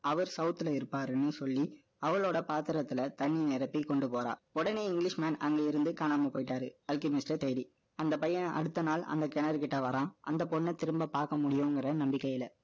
அவர் south ல இருப்பாருன்னு சொல்லி, அவளோட பாத்திரத்துல, தண்ணி நிரப்பி கொண்டு போறா. உடனே அங்க இருந்து காணாம போயிட்டாரு, ultimate maste டைரி. அந்த பையன் அடுத்த நாள், அந்த கிணறு கிட்ட வறான். அந்த பொண்ண திரும்ப பாக்க முடியுங்குற நம்பிக்கையில.